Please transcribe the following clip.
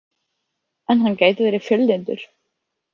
En hann gæti verið fjöllyndur.